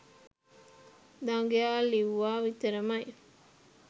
දඟයා ලිව්වා විතරමයි